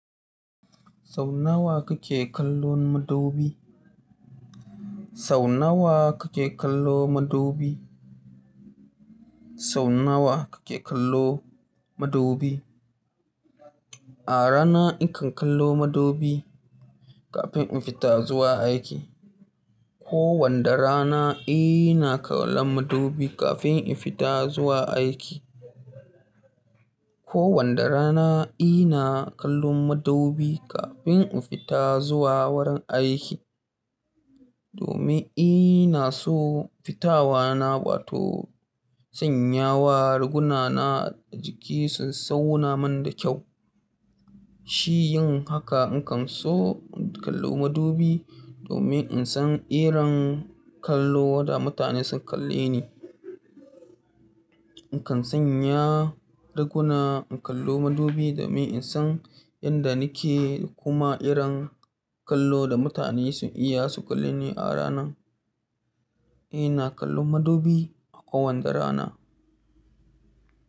Sau nawa kake kallon madubi? Sau nawa kake kallo madubi? Sau nawa kake kallo madubi? A rana in kan kallo madubi kafin in fita zuwa aiki. Ko wanda rana, ina kallon madubi kafin in fita zuwa aiki. Ko wanda rana ina kallon madubi kafin in fita zuwa wurin aiki. Domin ina so fitawa na, bata sanyawa riguna na jiki sun sauna man da kyau. Shi yin haka, in kan so in kallo madubi domin in san irin kallo wanda mutane sun kalle ni. In kan sanya riguna, in kallo madubi domin in san yanda nake kuma irin kallo da mutane sun iya su kalle ni a rana. Ina kallon madubi a kowanda rana.